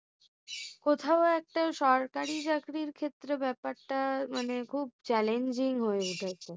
কোথাও একটা সরকারি চাকরির ক্ষেত্রে ব্যাপারটা মানে খুব challenging হয়েছে।